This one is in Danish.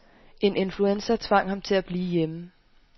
En influenza tvang ham til at blive hjemme.